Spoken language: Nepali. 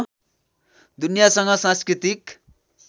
दुनियासँग सांस्कृतिक